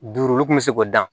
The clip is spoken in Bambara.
Duuru olu kun bɛ se k'o dan